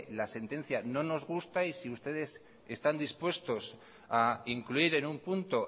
la sentencia no nos gusta y si ustedes están dispuestos a incluir en un punto